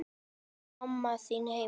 Er mamma þín heima?